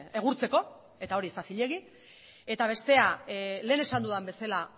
egurtzeko eta hori ez da zilegi eta bestea lehen esan dudan bezala